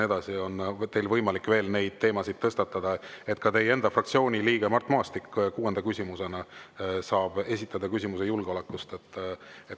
Teil on võimalik veel neid teemasid tõstatada ja ka teie fraktsiooni liige Mart Maastik saab kuuenda küsimusena esitada küsimuse julgeoleku kohta.